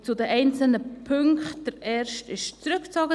Zu den einzelnen Punkten: Der erste wurde zurückgezogen.